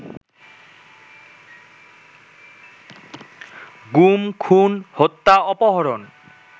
গুম, খুন, হত্যা, অপহরণ